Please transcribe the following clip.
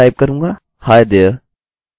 और यहाँ मैं टाइप करूँगा hi there!